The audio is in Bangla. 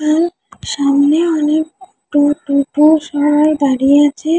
ওয়েল সামনে অনেক টো টোটো সবাই দাঁড়িয়ে আছে ।